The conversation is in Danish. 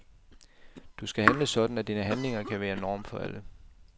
Du skal handle sådan, at dine handlinger kan være norm for alle.